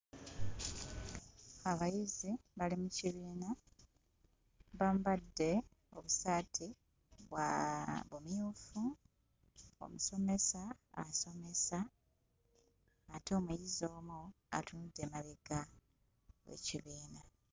Abayizi bali mu kibiina bambadde obusaati bwaaa bumyufu omusomesa asomesa ate omuyizi omu atunudde mabega w'ekibiina.